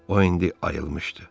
O indi ayılmışdı.